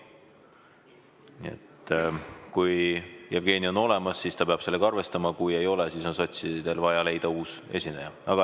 Nii et kui Jevgeni on olemas, siis ta peab sellega arvestama, kui ei ole, siis on sotsidel vaja leida uus esineja.